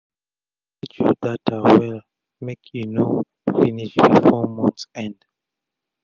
manage ur data well make e no finish before month end